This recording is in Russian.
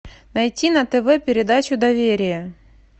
найти на тв передачу доверие